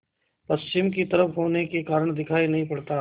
पश्चिम की तरफ होने के कारण दिखाई नहीं पड़ता